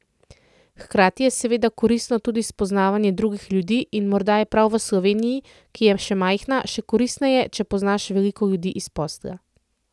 Hkrati je seveda koristno tudi spoznavanje drugih ljudi in morda je prav v Sloveniji, ki je majhna, še koristneje, če poznaš veliko ljudi iz posla.